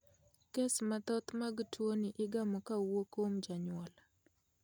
Kes mathoth mag tuoni igamo kowuok kuom janyuol.